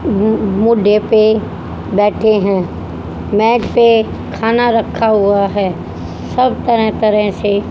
म्म मुंडे पे बैठे हैं मेज पे खाना रखा हुआ है सब तरह तरह से--